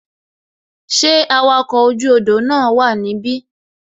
Ṣé awakọ̀ oju odò na wa nibi?